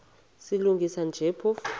silungisa nje phofu